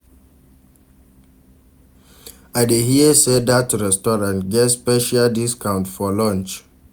I dey hear sey dat restaurant get special discount for lunch.